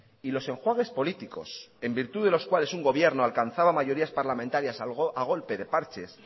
y los enjuagues políticos en virtud de los cuales un gobierno alcanzaba mayorías parlamentarias a golpe de parches